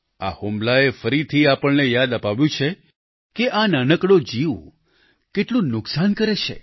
આ હુમલાએ ફરીથી આપણને યાદ અપાવ્યું છે કે આ નાનકડો જીવ કેટલું નુકસાન કરે છે